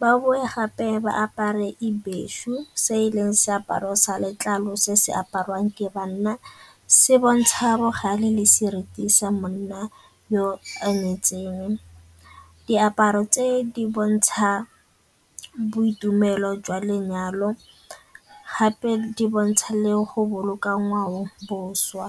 Ba bowe gape ba apare ibheshu se e leng seaparo sa letlalo se se apariwang ke banna, se bontsha bogale le seriti sa monna yo a nyetseng. Diaparo tse di bontsha boitumelo jwa lenyalo gape di bontsha le go boloka ngwaoboswa.